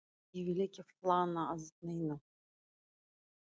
Ég vil ekki flana að neinu.